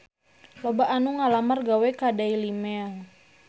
Loba anu ngalamar gawe ka Daily Mail